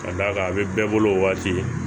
Ka d'a kan a bɛ bɛɛ bolo waati